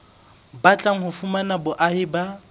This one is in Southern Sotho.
batlang ho fumana boahi ba